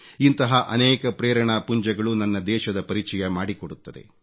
ಇಂತಹ ಅನೇಕ ಪ್ರೇರಣಾಪುಂಜಗಳು ನನ್ನ ದೇಶದ ಪರಿಚಯ ಮಾಡಿಕೊಡುತ್ತದೆ